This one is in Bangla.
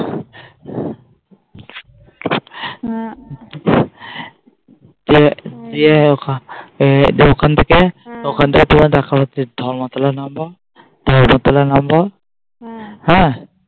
ওখান থেকে ওখান থেকে দেখা হচ্ছে ধর্মতলায় নামবো ধর্মতলায় নামবো